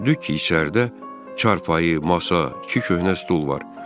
Gördük ki, içəridə çarpayı, masa, iki köhnə stul var.